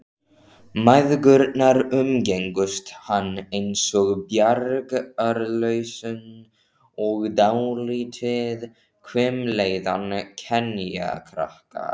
Mæðgurnar umgengust hann einsog bjargarlausan og dálítið hvimleiðan kenjakrakka.